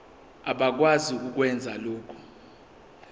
abakwazi ukwenza lokhu